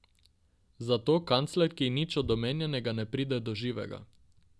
Zato kanclerki nič od omenjenega ne pride do živega.